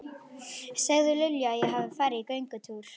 Segðu Lilju að ég hafi farið í göngutúr.